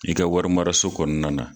I ka warimaraso kɔnɔna na